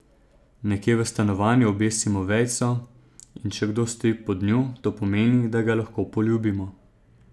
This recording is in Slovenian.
Nekje v stanovanju obesimo vejico, in če kdo stoji pod njo, to pomeni, da ga lahko poljubimo.